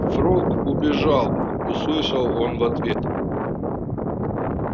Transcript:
фрог убежал услышал он в ответ